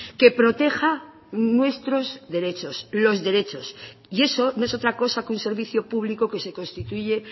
que proteja nuestros derechos los derechos y eso no es otra cosa que un servicio público que se constituye